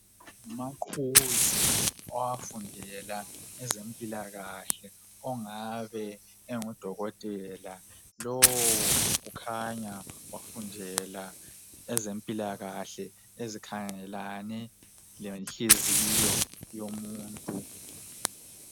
Ngumaqhuzu owafundela ezempilakahle ongabe engu Dokotela lo kukhanya wafundela ezempilakahle ezikhangelane lenhliziyo yomuntu